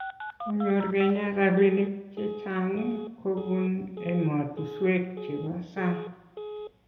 konyor kenya rabinik checheng kobun ematushwek chebo sang